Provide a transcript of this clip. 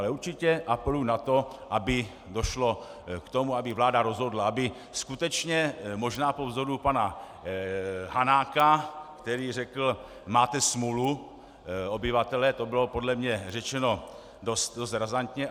Ale určitě apeluji na to, aby došlo k tomu, aby vláda rozhodla, aby skutečně možná po vzoru pana Hanáka, který řekl máte smůlu, obyvatelé - to bylo podle mě řečeno dost razantně.